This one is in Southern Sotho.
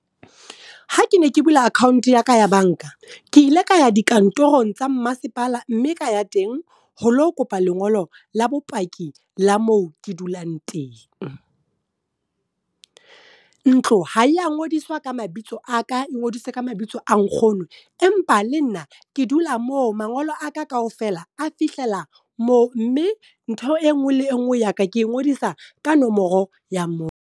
Ha ke ne ke bula account ya ka ya banka, ke ile ka ya dikantorong tsa mmasepala mme ka ya teng ho lo kopa lengolo la bopaki la moo ke dulang teng. Ntlo ha ya ngodiswa ka mabitso a ka ngodise ka mabitso a nkgono, empa le nna ke dula moo mangolo a ka kaofela a fihlela moo. Mme ntho e nngwe le nngwe ya ka ke ngodisa ka nomoro ya moo.